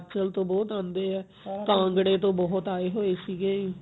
ਹਿਮਾਚਲ ਤੋਂ ਬਹੁਤ ਆਂਦੇ ਐ ਕਾਂਗੜੇ ਤੋਂ ਬਹੁਤ ਆਏ ਹੋਏ ਸੀਗੇ